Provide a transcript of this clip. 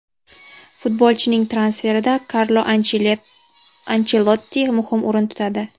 Futbolchining transferida Karlo Anchelotti muhim o‘rin tutadi.